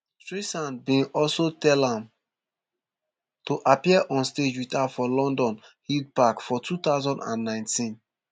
streisand bin also tell am to appear on stage wit her for london hyde park for two thousand and nineteen